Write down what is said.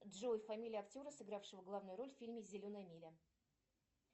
джой фамилия актера сыгравшего главную роль в фильме зеленая миля